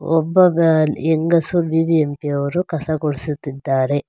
ಒಬ್ಬ ಬ ಲ್ ಹೆಂಗಸು ಬಿ_ಬಿ_ಎಂ_ಪಿ ಯವರು ಕಸ ಗುಡಿಸುತ್ತಿದ್ದಾರೆ.